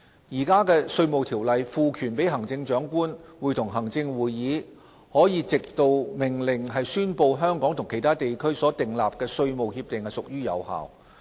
現行《稅務條例》賦權行政長官會同行政會議可藉命令宣布香港與其他地區所訂立的稅務協定屬有效。